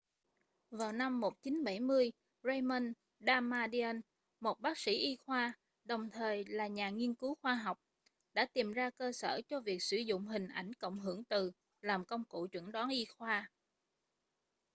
vào năm 1970 raymond damadian một bác sĩ y khoa đồng thời là nhà nghiên cứu khoa học đã tìm ra cơ sở cho việc sử dụng hình ảnh cộng hưởng từ làm công cụ chẩn đoán y khoa